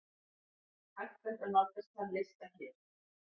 Hægt er nálgast þann lista hér.